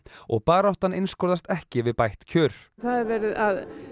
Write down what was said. og baráttan einskorðast ekki við bætt kjör það er verið að